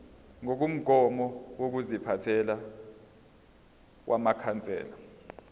ngokomgomo wokuziphatha wamakhansela